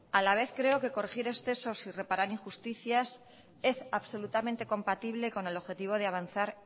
a la vez creo que corregir excesos y reparar injusticias es absolutamente compatible con el objetivo de avanzar